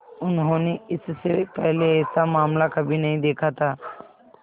उन्होंने इससे पहले ऐसा मामला कभी नहीं देखा था